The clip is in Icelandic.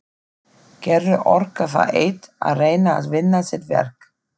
Gerður orkar það eitt að reyna að vinna sitt verk.